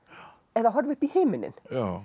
eða horfi upp í himininn